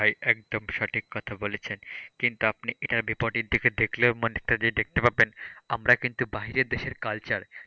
ভাই একদম সঠিক কথা বলেছেন, কিন্তু আপনি এটার বিপরীত দিকে দেখলে অনেকটা দেখতে পাবেন আমরা কিন্তু বাইরের দেশের culture,